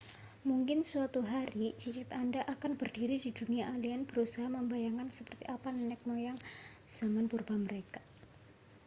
mungkin suatu hari cicit anda akan berdiri di dunia alien berusaha membayangkan seperti apa nenek moyang zaman purba mereka